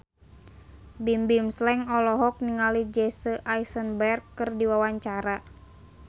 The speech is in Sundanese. Bimbim Slank olohok ningali Jesse Eisenberg keur diwawancara